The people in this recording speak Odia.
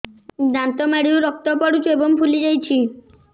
ଦାନ୍ତ ମାଢ଼ିରୁ ରକ୍ତ ପଡୁଛୁ ଏବଂ ଫୁଲି ଯାଇଛି